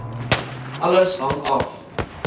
alles hang af